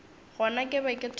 gona ke be ke thoma